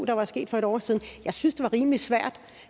der var sket for en år siden jeg synes det var rimelig svært